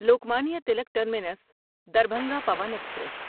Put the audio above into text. Lokmanya Tilak terminus Darbhanga Pawan express